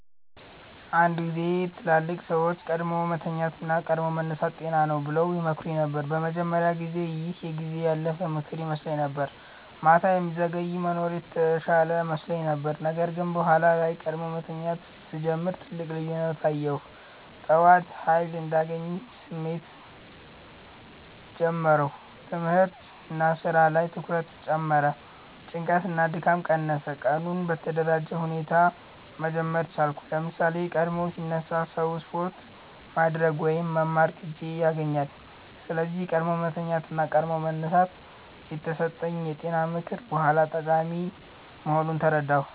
አንድ ጊዜ ትላልቅ ሰዎች “ቀድሞ መተኛት እና ቀድሞ መነሳት ጤና ነው” ብለው ይመክሩኝ ነበር። በመጀመሪያ ጊዜ ይህ የጊዜ ያለፈ ምክር ይመስለኝ ነበር፤ ማታ የሚዘገይ መኖር የተሻለ መስሎኝ ነበር። ነገር ግን በኋላ ላይ ቀድሞ መተኛት ሲጀምር ትልቅ ልዩነት አየሁ። ጠዋት ኃይል እንዳለኝ ስሜት ጀመርሁ ትምህርት/ስራ ላይ ትኩረት ጨመረ ጭንቀት እና ድካም ቀነሰ ቀኑን በተደራጀ ሁኔታ መጀመር ቻልኩ ለምሳሌ፣ ቀድሞ ሲነሳ ሰው ስፖርት ማድረግ ወይም መማር ጊዜ ያገኛል። ስለዚህ “ቀድሞ መተኛት እና ቀድሞ መነሳት” የተሰጠኝ የጤና ምክር በኋላ ጠቃሚ መሆኑን ተረዳሁ።